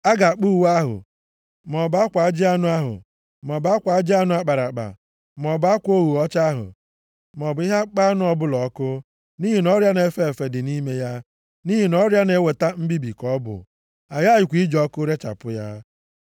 A ga-akpọ uwe ahụ, maọbụ akwa ajị anụ ahụ, maọbụ akwa ajị anụ a kpara akpa, maọbụ akwa ogho ọcha ahụ, maọbụ ihe akpụkpọ anụ ọbụla ọkụ, nʼihi na ọrịa na-efe efe dị nʼime ya, nʼihi na ọrịa na-eweta mbibi ka ọ bụ. A ghakwaghị iji ọkụ rechapụ ya.